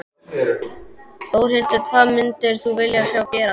Þórhildur: Hvað myndir þú vilja sjá gerast?